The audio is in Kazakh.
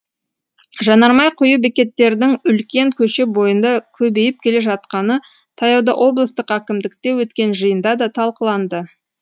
жанармай құю бекеттердің үлкен көше бойында көбейіп келе жатқаны таяуда облыстық әкімдікте өткен жиында да талқыланды